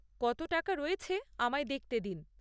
কত টাকা রয়েছে আমায় দেখতে দিন।